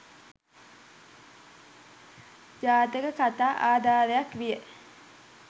ජාතක කතා ආධාරයක් විය.